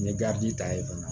N ye ta yen fana